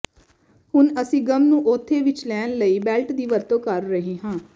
ਹੁਣ ਅਸੀਂ ਗੱਮ ਨੂੰ ਉੱਥੇ ਵਿਚ ਲੈਣ ਲਈ ਬੈਲਟ ਦੀ ਵਰਤੋਂ ਕਰ ਰਹੇ ਹਾਂ